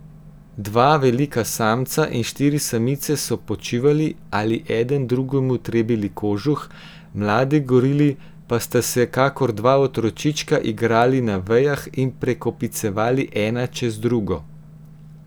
Dva velika samca in štiri samice so počivali ali eden drugemu trebili kožuh, mladi gorili pa sta se kako dva otročička igrali na vejah in prekopicevali ena čez drugo.